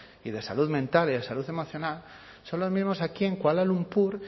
y de salud mental y de salud emocional son los mismos aquí en kuala lumpur